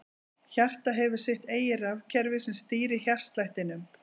Hjartað hefur sitt eigið rafkerfi sem stýrir hjartslættinum.